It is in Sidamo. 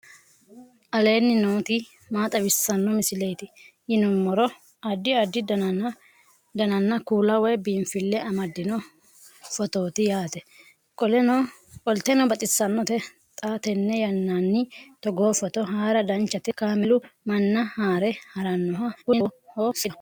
aleenni nooti maa xawisanno misileeti yinummoro addi addi dananna kuula woy biinfille amaddino footooti yaate qoltenno baxissannote xa tenne yannanni togoo footo haara danchate kaameelu manna haare harannoho kuni lowoho seedaho